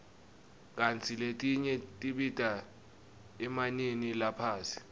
kantsi letinye tibita emanani laphasi